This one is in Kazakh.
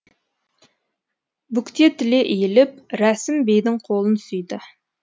бүктетіле иіліп рәсім бейдің қолын сүйді